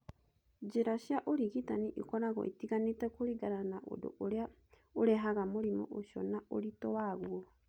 Njĩra cia ũrigitani ĩkoragwo ĩtiganĩte kũringana na ũndũ ũrĩa ũrehaga mũrimũ ũcio na ũritũ waguo.